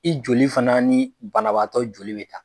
I joli fana ni banabagatɔ joli bɛ ta.